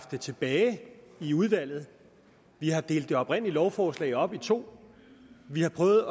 det tilbage i udvalget vi har delt det oprindelige lovforslag op i to vi har prøvet